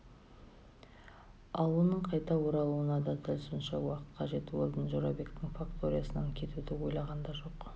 ал оның қайта оралуына да сонша уақыт қажет уэлдон жорабектің факториясынан кетуді ойлаған да жоқ